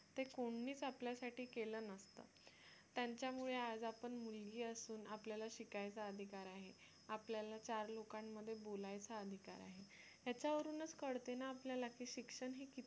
ते कोणीच आपल्यासाठी केलं नसतं त्यांच्यामुळे आज आपण मुलगी असून आपल्याला शिकायचा अधिकार आहे आपल्याला चार लोकांमध्ये बोलायचा अधिकार आहे याच्यावरूनच कळते ना आपल्याला की शिक्षण हे किती